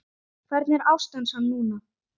Hvernig er ástand hans núna?